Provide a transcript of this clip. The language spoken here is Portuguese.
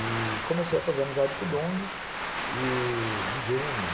E comecei a fazer amizade com o Dong, e... um gênio.